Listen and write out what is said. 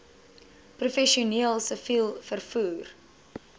professioneel siviel vervoer